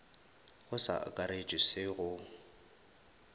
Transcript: go sa akaretšwe se go